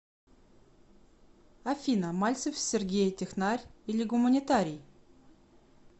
афина мальцев сергей технарь или гуманитарий